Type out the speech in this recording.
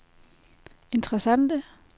interessante